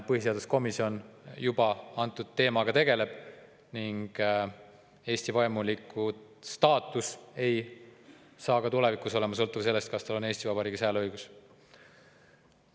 Põhiseaduskomisjon juba teemaga tegeleb ning vaimulikustaatus Eestis ei ole ka tulevikus sõltuv sellest, kas sel inimesel on Eesti Vabariigis hääleõigus.